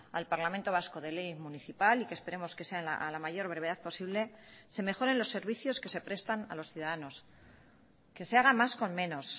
al parlamento vasco de ley municipal y que esperemos que sea a la mayor brevedad posible se mejoren los servicios que se prestan a los ciudadanos que se haga más con menos